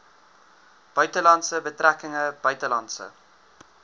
buitelandse betrekkinge buitelandse